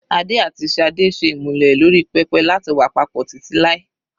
Adé àti Sade ṣe ìmúlẹ̀ lórí pẹpẹ láti wà papọ̀ títí láì.